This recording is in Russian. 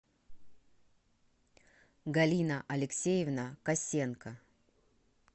галина алексеевна косенко